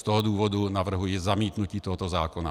Z toho důvodu navrhuji zamítnutí tohoto zákona.